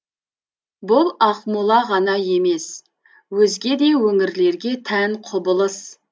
бұл ақмола ғана емес өзге де өңірлерге тән құбылыс